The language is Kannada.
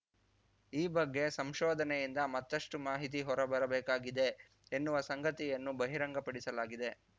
ಈ ಬಗ್ಗೆ ಸಂಶೋಧನೆಯಿಂದ ಮತ್ತಷ್ಟು ಮಾಹಿತಿ ಹೊರ ಬರಬೇಕಾಗಿದೆ ಎನ್ನುವ ಸಂಗತಿಯನ್ನು ಬಹಿರಂಗ ಪಡಿಸಲಾಗಿದೆ